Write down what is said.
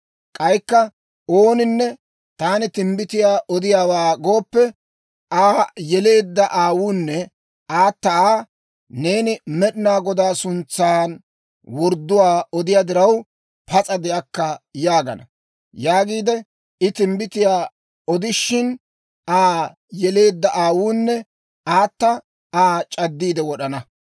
K'aykka ooninne, Taani timbbitiyaa odiyaawaa gooppe, Aa yeleedda aawunne aata Aa, ‹Neeni Med'inaa Godaa suntsan wordduwaa odiyaa diraw, pas'a de'akka› yaagana; yaagiide I timbbitiyaa odishin, Aa yeleedda aawunne aata Aa c'addiide wod'ana.